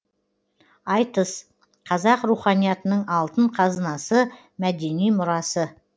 айтыс қазақ руханиятының алтын қазынасы мәдени мұрасы